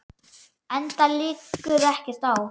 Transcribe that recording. Enda liggur ekkert á.